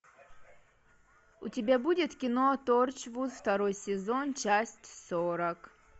у тебя будет кино торчвуд второй сезон часть сорок